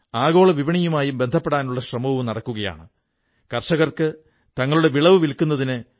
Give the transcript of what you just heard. ഈ ഉദാഹരണം പുസ്തകം വായിക്കുന്നതിന്റെ കാര്യത്തിലോ ലൈബ്രറികളുണ്ടാക്കുന്ന കാര്യത്തിലോ ഒതുങ്ങി നിൽക്കേണ്ടതല്ല